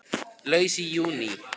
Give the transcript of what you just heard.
Laus í júní